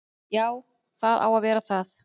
Jú, það á að vera það.